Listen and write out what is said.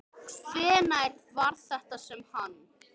Hvenær var þetta sem hann.